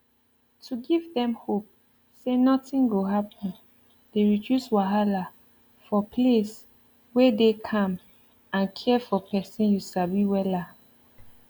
to give dem hope say nothing go happen dey reduce wahala for place wey dey calm and care for person you sabi wella